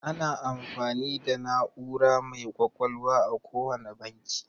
Ana amfani da na'ura mai ƙwaƙwalwa a kowane banki.